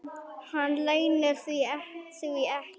Hann leynir því ekki.